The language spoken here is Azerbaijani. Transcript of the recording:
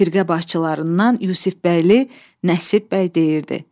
Firqə başçılarından Yusifbəyli Nəsibbəy deyirdi.